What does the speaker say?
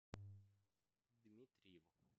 дмитриеву